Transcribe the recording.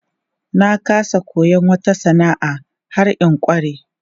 Na ƙasa koyon wata sana'a har in ƙware.